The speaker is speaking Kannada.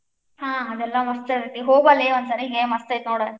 ಹಾ ಆದೆಲ್ಲಾ ಮಸ್ತ್ ಇರ್ತೇತಿ, ಹೋಗಿ ಬಾ ಲೇ ಒಂದ್ ಸಾರಿ ಮಸ್ತ್ ಐತಿ ನೋಡ್.